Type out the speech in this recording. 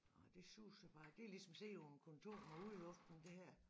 Det suser bare det er ligesom at sidde på et kontor med udluftning det her